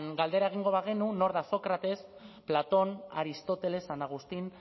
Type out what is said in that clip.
galdera egingo bagenu nor da sócrates platón aristóteles san agustín